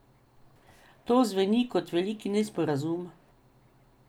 To zveni kot velik nesporazum.